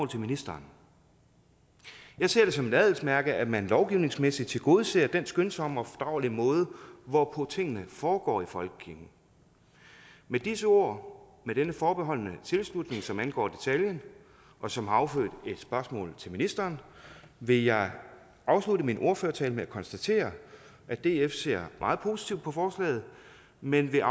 til ministeren jeg ser det som et adelsmærke at man lovgivningsmæssigt tilgodeser den skønsomme og fordragelige måde hvorpå tingene foregår i folkekirken med disse ord med denne forbeholdne tilslutning som angår detaljen og som har affødt et spørgsmål til ministeren vil jeg afslutte min ordførertale med at konstatere at df ser meget positivt på forslaget men vil